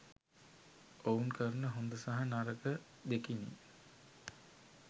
ඔවුන් කරන හොඳ සහ නරක දෙකිනි.